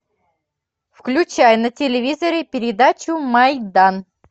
включай на телевизоре передачу майдан